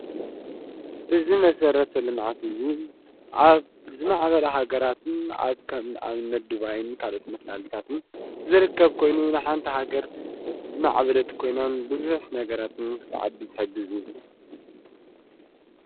እዚ መሠረተ ልምዓት እዙይ ኣብ ዝማዕበል ሃገራትን ብኣብነት ድባይን ካልኦት መሣልታትን ዝርከብ ኮይኑ ንሓንታ ሃገር ዝማዕበለት ኮይናን ብዘሕ ነገራትን ክተዓቢ ዝሐጊዙ እዩ።